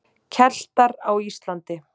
Keltar á Íslandi.